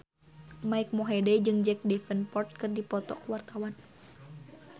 Mike Mohede jeung Jack Davenport keur dipoto ku wartawan